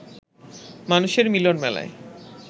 মানুষের মিলন মেলায়